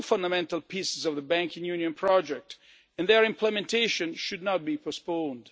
These are two fundamental pieces of the banking union project and their implementation should not be postponed.